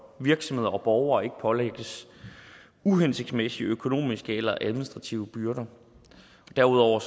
virksomheder og borgere ikke pålægges uhensigtsmæssige økonomiske eller administrative byrder derudover